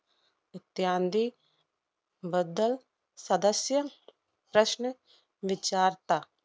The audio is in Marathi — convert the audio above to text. इत्यांदी बद्दल सदस्य प्रश्न विचारता.